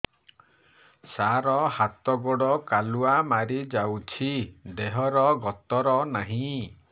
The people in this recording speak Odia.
ସାର ହାତ ଗୋଡ଼ କାଲୁଆ ମାରି ଯାଉଛି ଦେହର ଗତର ନାହିଁ